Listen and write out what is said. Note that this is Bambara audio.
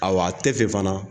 A wa a tɛ fɛ fana